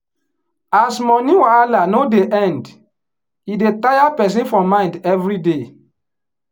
as money wahala no dey end e dey tire person for mind everyday.